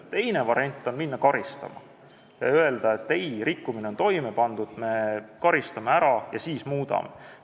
Teine variant on hakata karistama ja öelda, et ei, rikkumine on toime pandud, me karistame ja siis muudame.